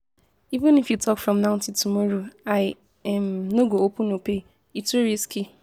Even if you talk from now till tomorrow, I um no go open opay, e too risky